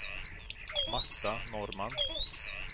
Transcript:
Marta Norrman